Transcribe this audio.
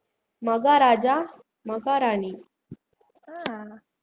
Maharaja maharani